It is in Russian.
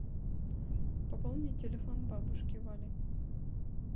пополнить телефон бабушки вали